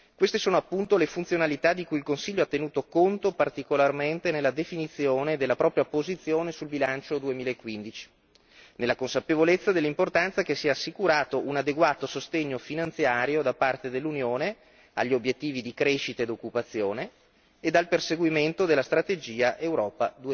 Queste sono appunto le funzionalità di cui il Consiglio ha tenuto conto particolarmente nella definizione della propria posizione sul bilancio 2015, nella consapevolezza dell'importanza che sia assicurato un adeguato sostegno finanziario da parte dell'Unione agli obiettivi di crescita ed occupazione ed al perseguimento della strategia Europa